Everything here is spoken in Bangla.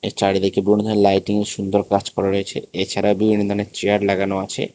চারিদিকে বিভিন্ন ধরণের লাইটিংয়ের সুন্দর কাজ করা রয়েছে এছাড়া বিভিন্ন ধরণের চেয়ার লাগানো আছে।